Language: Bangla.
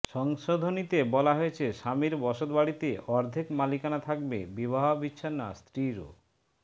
সংশোধনীতে বলা হয়েছে স্বামীর বসতবাড়িতে অর্ধেক মালিকানা থাকবে বিবাহ বিচ্ছিনা স্ত্রী ও